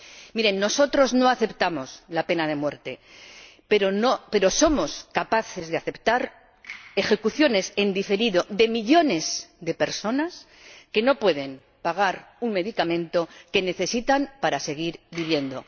Miren, nosotros no aceptamos la pena de muerte, pero somos capaces de aceptar ejecuciones en diferido de millones de personas que no pueden pagar un medicamento que necesitan para seguir viviendo.